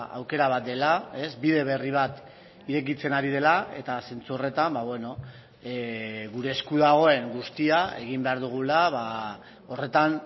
aukera bat dela bide berri bat irekitzen ari dela eta zentzu horretan gure esku dagoen guztia egin behar dugula horretan